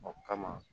O kama